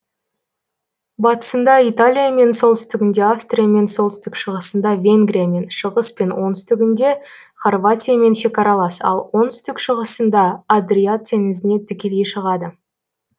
батысында италиямен солтүстігінде австриямен солтүстік шығысында венгриямен шығыс пен оңтүстігінде хорватиямен шекаралас ал оңтүстік шығысында адриат теңізіне тікелей шығады